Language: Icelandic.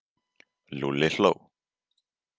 Lúlli hló.